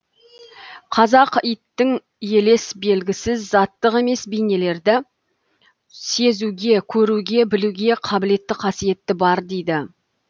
қазақ иттің елес белгісіз заттық емес бейнелерді сезуге көруге білуге қабілетті қасиеті бар дейді